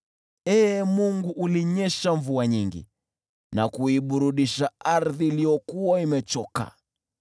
Ee Mungu, ulinyesha mvua nyingi na kuiburudisha ardhi iliyokuwa imechoka.